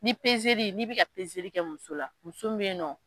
Ni n'i bɛ ka kɛ muso la, muso mun bɛ yen nɔ.